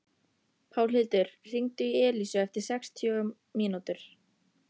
Pálhildur, hringdu í Elísu eftir sextíu mínútur.